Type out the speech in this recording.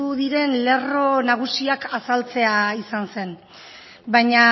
diren lerro nagusiak azaltzea izan zen baina